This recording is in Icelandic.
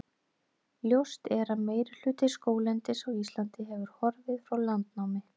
Ljóst er að meirihluti skóglendis á Íslandi hefur horfið frá landnámi.